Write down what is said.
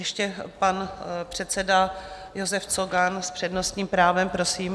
Ještě pan předseda Josef Cogan s přednostním právem, prosím.